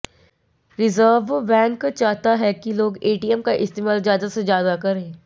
reserve Bank चाहता है कि लोग एटीएम का इस्तेमाल ज्यादा से ज्यादा करें